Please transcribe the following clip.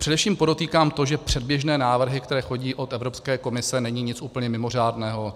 Především podotýkám to, že předběžné návrhy, které chodí od Evropské komise, nejsou nic úplně mimořádného.